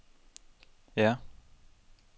ja